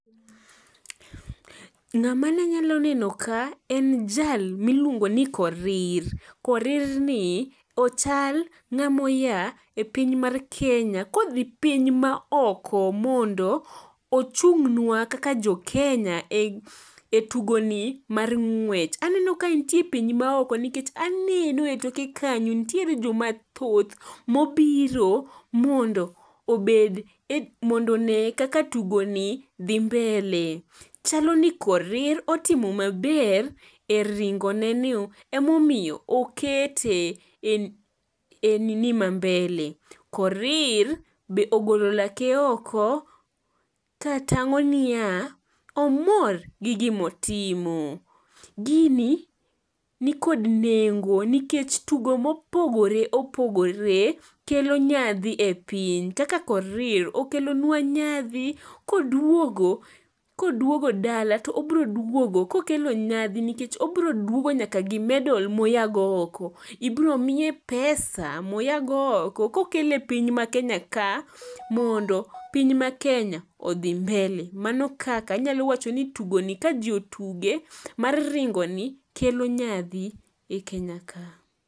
Ng'ama nanyalo neno ka en jal miluongo ni Korir, Korir ni ochal ng'amoya e piny mar Kenya kodhi piny maoko mondo ochung'nwa kaka jokenya e tugoni mar ng'wech. Aneno ka entie e piny maoko nikech aneno e toke kanyo ntiere jomathoth mobiro mondo one kaka tugoni dhi mbele, chalo ni Korir otimo maber e ringone ni emomiyo okete e nini ma mbele. Korir be ogolo lake oko katang'o niya omor gi gimotimo. Gini nikod nengo nikech tugo mopogore opogore kelo nyadhi e piny kaka Korir okelonwa nyadhi koduogo dala to obroduogo kokelo nyadhi nikech obroduogo nyaka gi medal moyago oko. Ibromiye pesa moyago oko kokelo e piny ma Kenya ka mondo piny ma Kenya odhi mbele mano kaka anyalo wacho ni tugoni ka ji otuge mar ringoni kelo nyadhi e Kenya ka.